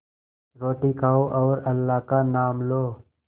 रोटी खाओ और अल्लाह का नाम लो